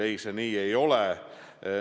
Ei, see nii ei ole.